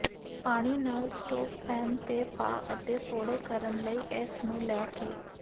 ਪਾਣੀ ਨਾਲ stove pan ਤੇ ਪਾ ਅਤੇ ਫ਼ੋੜੇ ਕਰਨ ਲਈ ਇਸ ਨੂੰ ਲੈ ਕੇ